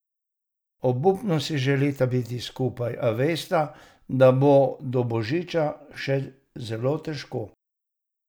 Obupno si želita biti skupaj, a vesta, da bo do božiča še zelo težko.